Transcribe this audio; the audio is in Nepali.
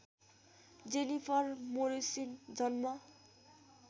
जेनिफर मोरिसन जन्म